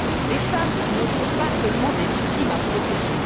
Les femmes ne sont pas seulement des victimes à protéger.